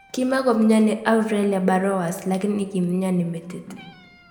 Kimakomyani Aurelia Burrowers lakini kimyoni metit